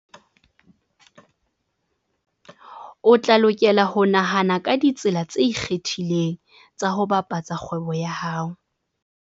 O tla lokela ho nahana ka ditsela tse ikgethileng tsa ho bapatsa kgwebo ya hao.